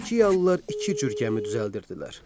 Finikiyalılar iki cür gəmi düzəldirdilər.